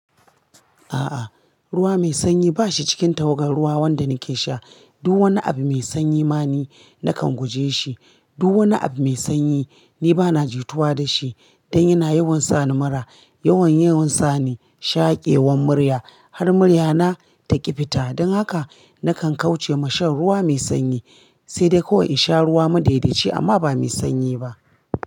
A'a, ruwa mai sanyi ba shi cikin tawagar ruwa wanda nake sha. Duk wani abu mai sanyi ma ni nakan guje shi. Duk wani abu mai sanyi ni bana jituwa da shi dan yana yawan sa ni mura. Yawan yawan sa ni shaƙewan murya har murya na ta ƙifita. Dan haka nakan kauce ma shan ruwa mai sanyi, sai dai ko in sha ruwa madaidaci amma ba mai sanyi ba.